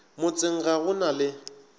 motseng ga go na le